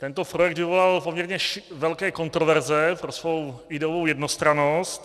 Tento projekt vyvolal poměrně velké kontroverze pro svou ideovou jednostrannost.